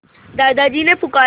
दादाजी ने पुकारा